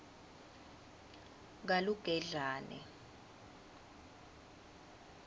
kalugedlane